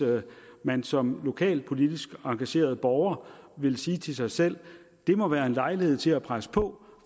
man som lokalpolitisk engageret borger ville sige til sig selv det må være en lejlighed til at presse på